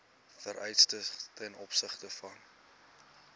vereistes ten opsigte